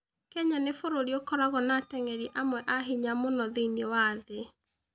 Kenya nĩ bũrũri ũkoragwo na ateng'eri amwe a ihenya mũno thĩinĩ wa thĩ.